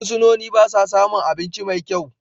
Fursunoni ba sa samun abinci mai kyau.